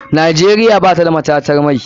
Nigeria batada matatar mai.